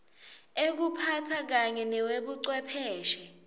ekuphatsa kanye newebuchwepheshe